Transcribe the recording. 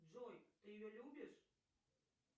джой ты ее любишь